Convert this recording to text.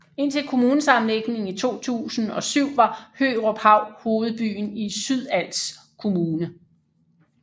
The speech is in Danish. Indtil kommunesammenlægningen i 2007 var Høruphav hovedbyen i Sydals Kommune